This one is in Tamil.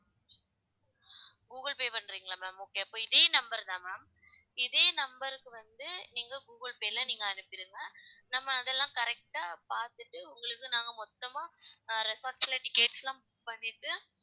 கூகுள் பே பண்றீங்களா ma'am okay அப்போ இதே number தான் ma'am இதே number க்கு வந்து நீங்க கூகுள் பேல நீங்க அனுப்பிருங்க நம்ம அதெல்லாம் correct ஆ பார்த்துட்டு உங்களுக்கு நாங்க மொத்தமா ஆஹ் resorts ல tickets லாம் book பண்ணிட்டு